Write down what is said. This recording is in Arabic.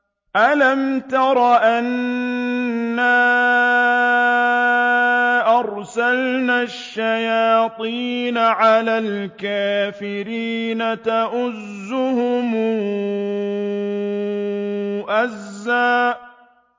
أَلَمْ تَرَ أَنَّا أَرْسَلْنَا الشَّيَاطِينَ عَلَى الْكَافِرِينَ تَؤُزُّهُمْ أَزًّا